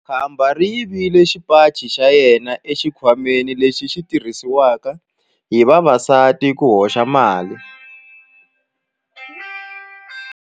Khamba ri yivile xipaci xa yena exikhwameni lexi xi tirhisiwaka hi vavasati ku hoxela mali.